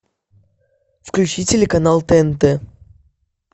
включи телеканал тнт